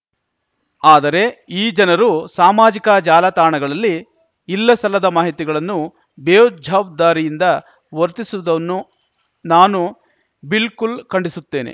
ಆದರೆ ಈ ಜನರು ಸಾಮಾಜಿಕ ಜಾಲತಾಣಗಳಲ್ಲಿ ಇಲ್ಲಸಲ್ಲದ ಮಾಹಿತಿಗಳನ್ನು ಬೇಜವಾಬ್ದಾರಿಯಿಂದ ವರ್ತಿಸುವುದನ್ನು ನಾನು ಬಿಲ್ಕುಲ್‌ ಖಂಡಿಸುತ್ತೇನೆ